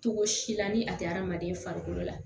Cogo si la ni a tɛ hadamaden farikolo la